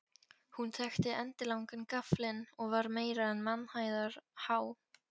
Hún þakti endilangan gaflinn og var meira en mannhæðar há.